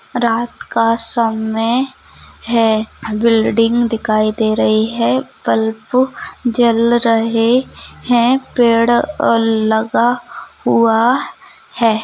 रात का समय है बिल्डिंग दिखाई दे रही है बल्ब जल रहे है पेड़ अ लगा हुआ है।